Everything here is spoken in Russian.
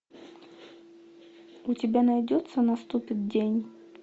у тебя найдется наступит день